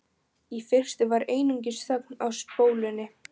Í fyrstu var einungis þögn á spólunni.